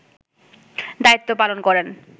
দায়িত্ব পালন করেন